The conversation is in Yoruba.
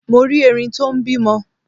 Mo rí Erin tó n bímọ